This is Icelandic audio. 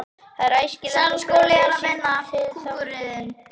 Því er æskilegt að skrá lið sitt til þátttöku sem fyrst.